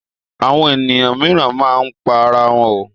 Àwọn ènìyàn mìíràn máa ń pa ara wọn.